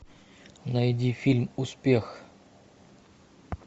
найди фильм успех